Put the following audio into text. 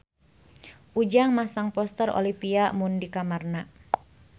Ujang masang poster Olivia Munn di kamarna